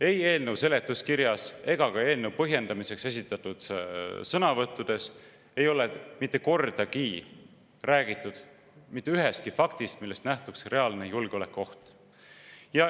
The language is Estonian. Ei eelnõu seletuskirjas ega ka eelnõu põhjendamiseks esitatud sõnavõttudes ei ole mitte kordagi räägitud mitte ühestki faktist, millest nähtuks reaalne julgeolekuoht.